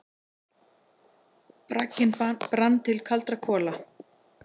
Bragginn brann til kaldra kola.